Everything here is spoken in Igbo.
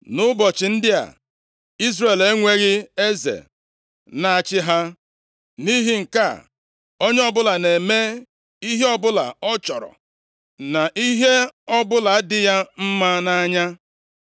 Nʼụbọchị ndị a, Izrel enweghị eze na-achị ha. Nʼihi nke a, onye ọbụla na-eme ihe ọbụla ọ chọrọ, na ihe ọbụla dị ya mma nʼanya.